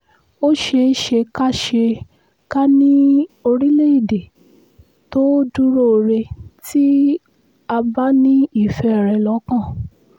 ó ṣeé ṣe ká ṣe ká ní orílẹ̀‐èdè tó dúróore tí a bá ní ìfẹ́ rẹ̀ lọ́kàn